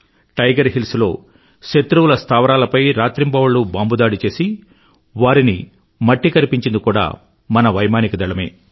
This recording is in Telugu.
టైగర్ హిల్స్ లో శత్రువుల స్థావరాలపై రాత్రింబవళ్ళూ బాంబుదాడి చేసి వారిని మట్టి కరిపించింది కూడా మన వైమానిక దళమే